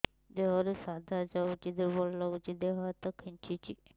ଦେହରୁ ସାଧା ଯାଉଚି ଦୁର୍ବଳ ଲାଗୁଚି ଦେହ ହାତ ଖାନ୍ଚୁଚି